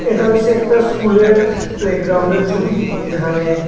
এটা হইছে একটা স্কুলের প্লেগরাউন্ডের ছবি যেখানে--